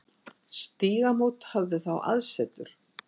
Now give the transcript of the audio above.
Stígamót höfðu þá aðsetur.